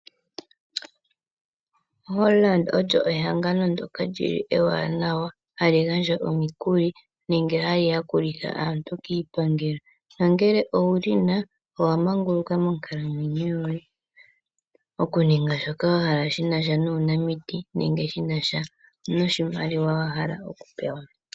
Hollard olyo ehangano ndoka lyili ewanawa hali gandja omukuli nenge hali yakulitha aantu kiipangelo na ngele owuli na owa manguluka monkalamwenyo yoye, oku ninga sha shoka wahala shina nuunamiti nenge shi na sha noshimaliwa wahala oku pewa.